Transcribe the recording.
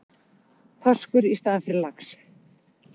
Þorskur í staðinn fyrir lax